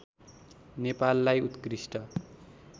नेपाललाई उत्कृष्ट